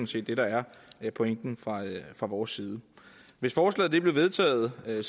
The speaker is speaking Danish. set det der er pointen fra vores side hvis forslaget blev vedtaget ville